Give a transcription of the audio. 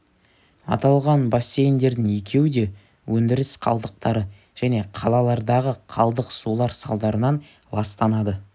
аталған бассейндердің екеуі де өндіріс қалдықтары және қалалардағы қалдық сулар салдарынан ластанады